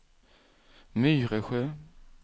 Myresjö